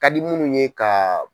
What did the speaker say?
Ka di minnu ye ka.